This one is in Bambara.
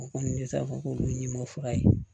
O kɔni ne ta fɔ k'olu ɲimi fura ye